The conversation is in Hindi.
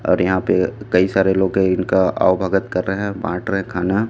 और यहाँ पे कई सारे लोग है इनका आवभगत कर रहे है बाट रहे है खाना --